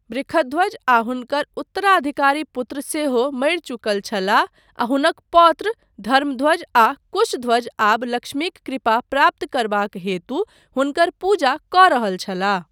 वृषध्वज आ हुनकर उत्तराधिकारी पुत्र सेहो मरि चुकल छलाह आ हुनक पौत्र धर्मध्वज आ कुशध्वज आब लक्ष्मीक कृपा प्राप्त करबाक हेतु हुनकर पूजा कऽ रहल छलाह।